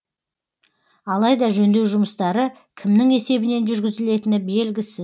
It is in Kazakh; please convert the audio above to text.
алайда жөндеу жұмыстары кімнің есебінен жүргізілетіні белгісіз